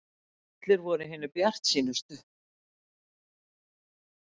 Allir voru hinir bjartsýnustu.